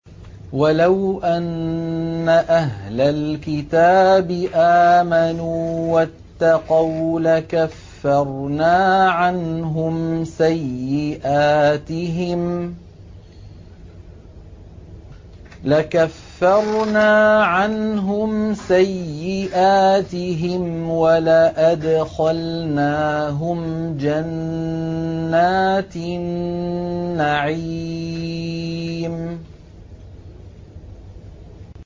وَلَوْ أَنَّ أَهْلَ الْكِتَابِ آمَنُوا وَاتَّقَوْا لَكَفَّرْنَا عَنْهُمْ سَيِّئَاتِهِمْ وَلَأَدْخَلْنَاهُمْ جَنَّاتِ النَّعِيمِ